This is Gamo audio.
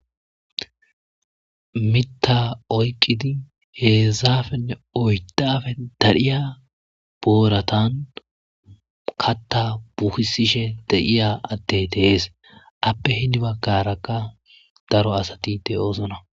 Mitta oyqqidi heezafenne oydafe darhiya booratan katta buhisishe de'iya attey tehees appe hini baggarakka daro asati de oosona.